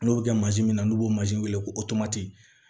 N'o bɛ kɛ mansin min na n'o bɛ wele ko